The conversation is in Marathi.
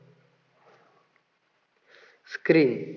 screen